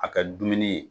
A ka dumuni ye